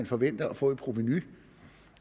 forvente at få i provenu